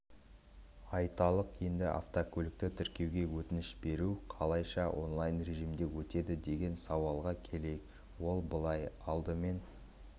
айталық енді автокөлікті тіркеуге өтініш беру қалайша онлайн режимінде өтеді деген сауалға келейік ол былай алдымен